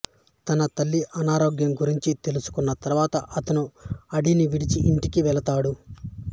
తన తల్లి అనారోగ్యం గురించి తెలుసుకున్న తరువాత అతను అడవిని విడిచి ఇంటికి వెళ్తాడు